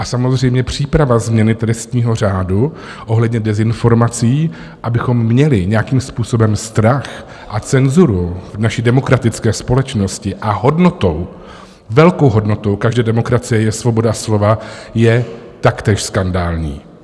A samozřejmě příprava změny trestního řádu ohledně dezinformací, abychom měli nějakým způsobem strach a cenzuru v naší demokratické společnosti - a hodnotou, velkou hodnotou každé demokracie je svoboda slova - je taktéž skandální.